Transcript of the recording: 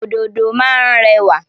Òdòdó má ń rẹwà.